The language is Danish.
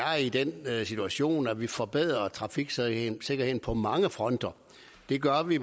er i den situation at vi forbedrer trafiksikkerheden på mange fronter det gør vi